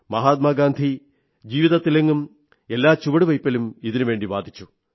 മഹാത്മാഗാന്ധി ജീവിതത്തിലെങ്ങും എല്ലാ ചുവടുവെയ്പ്പിലും ഇതിനുവേണ്ടി വാദിച്ചു